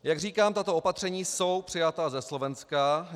Jak říkám, tato opatření jsou přejata ze Slovenska.